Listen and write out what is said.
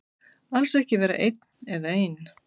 Alls ekki vera einn eða ein.